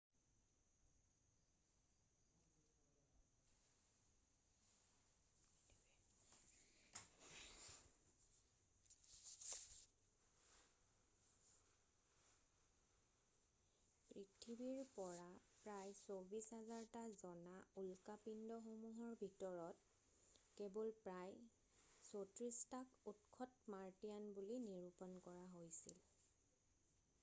পৃথিৱীত পৰা প্ৰায় ২৪,০০০টা জনা উল্কাপিণ্ডসমূহৰ ভিতৰত কেৱল প্ৰায় ৩৪ টাক উৎসত মাৰ্টিয়ান বুলি নিৰূপণ কৰা হৈছিল৷